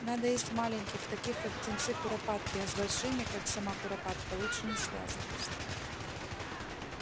надо есть маленьких таких как птенцы куропатки а с большими как сама куропатка лучше не связываться